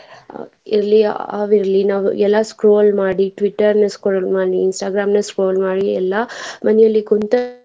ಅಹ್ ಇಲ್ಲಿ ಅವ್ ಇರ್ಲಿ ನಾವ್ ಎಲ್ಲಾ scroll ಮಾಡಿ Twitter ನ scroll ಮಾಡಿ Instagram scroll ಮಾಡಿ ಎಲ್ಲಾ ಮನೇಲಿ ಕುಂತ.